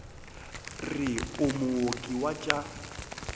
re o mooki wa tša